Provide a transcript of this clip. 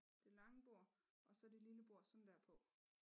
Det lange bord og så det lille bord sådan dér på